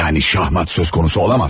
Yəni şahmat söz konusu ola bilməzdi.